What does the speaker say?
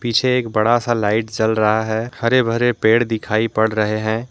पीछे एक बड़ा सा लाइट जल रहा है हरे भरे पेड़ दिखाई पड़ रहे हैं।